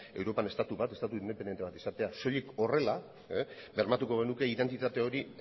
europan estatu bat estatu independiente bat izatea soilik horrela bermatuko genuke identitate hori